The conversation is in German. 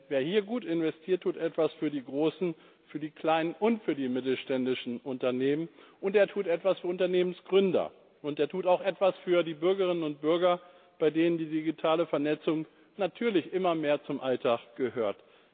Wer hier gut investiert, tut etwas für die großen, für die kleinen und für die mittelständischen Unternehmen, er tut etwas für Unternehmensgründer, und er tut auch etwas für die Bürgerinnen und Bürger, bei denen die digitale Vernetzung natürlich immer mehr zum Alltag gehört.